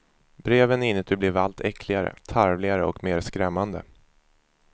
Breven inuti blev allt äckligare, tarvligare och mera skrämmande.